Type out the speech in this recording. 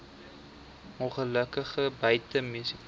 ongelukke buite munisipale